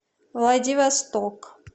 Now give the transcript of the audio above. владивосток